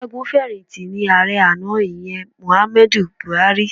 Ọ̀gágun fẹ̀yìntì ni ààrẹ àná, ìyẹn Muhammadu Buhari.